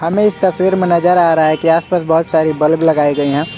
तस्वीर में नजर आ रहा है की आस पास बहुत सारे बल्ब लगाए गए हैं।